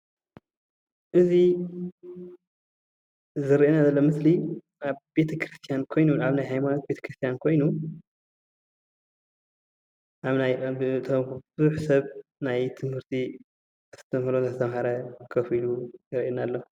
እዚ ዝረአየና ዘሎ ምስሊ ኣብ ቤተ ክርስትያን ኮይኑ ኣብ ናይ ሃይማኖት ቤተ ክርስትያን ኮይኑ ብዙሕ ሰብ ናይ ሃይማኖት ትምህርቲ እንተማሃረ ኮፍ ኢሉ የርእየና ኣሎ፡፡